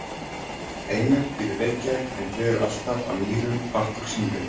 Einar býr í Reykjavík en dvelur alltaf að Mýrum part úr sumri.